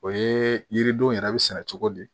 O ye yiridenw yɛrɛ bɛ sɛnɛ cogo di